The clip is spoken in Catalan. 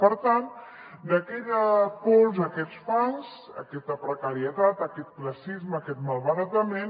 per tant d’aquella pols i aquests fangs aquesta precarietat aquest classisme aquest malbaratament